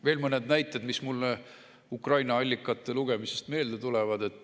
Veel mõned näited, mis mulle Ukraina allikate lugemisest meelde tulevad.